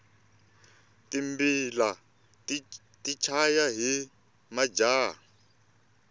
timbila ti chaya hi majaha